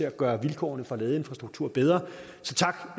at gøre vilkårene for ladeinfrastruktur bedre